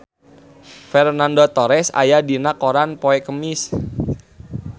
Fernando Torres aya dina koran poe Kemis